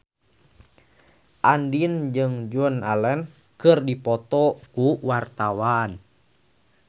Andien jeung Joan Allen keur dipoto ku wartawan